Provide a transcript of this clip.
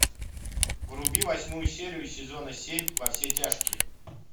вруби восьмую серию сезона семь во все тяжкие